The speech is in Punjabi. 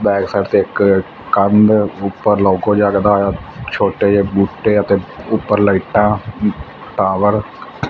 ਬੈਕ ਸਾਈਡ ਤੇ ਇੱਕ ਕੰਧ ਉਪਰ ਲੌਕੋ ਜਗਦਾ ਹੋਇਆ ਛੋਟੇ ਜਿਹੇ ਬੂਟੇ ਅਤੇ ਉੱਪਰ ਲਾਈਟਾਂ ਟਾਵਰ --